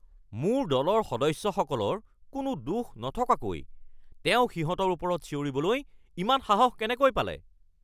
মোৰ দলৰ সদস্যসকলৰ কোনো দোষ নথকাকৈ তেওঁ সিহঁতৰ ওপৰত চিঞৰিবলৈ ইমান সাহস কেনেকৈ পালে!